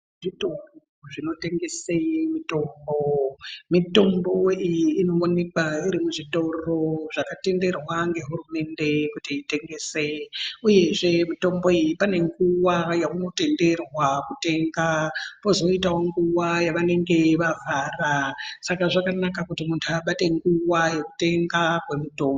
Zvitoro zvinotengese mitombo. Mitombo iyi inoonekwa iri muzvitoro zvakatenderwa ngehurumende kuti itengese, uyezve mitomboyi pane nguwa yaunotenderwa kutenga, pozoitawo nguwa yavange vavhara .Saka zvakanaka kuti muntu abate nguwa yekutenga kwemitombo.